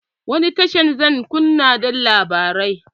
Wani tashar zan kunna don labarai?